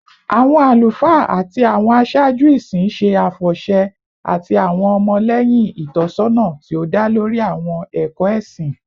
Awọn alufaa ati awọn aṣaaju isin ṣe afọṣẹ ati awọn ọmọlẹhin itọsọna ti o da lori awọn ẹkọ ẹsin